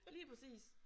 Lige præcis